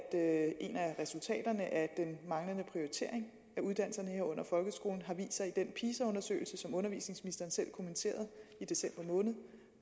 af resultaterne af den manglende prioritering af uddannelserne herunder folkeskolen har vist sig i den pisa undersøgelse som undervisningsministeren selv kommenterede i december måned